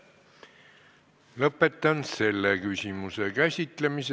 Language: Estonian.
Lõpetan selle küsimuse käsitlemise.